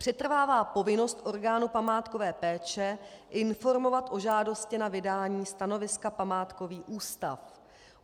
Přetrvává povinnost orgánu památkové péče informovat o žádosti na vydání stanoviska památkový ústav.